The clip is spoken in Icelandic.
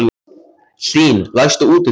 Hlín, læstu útidyrunum.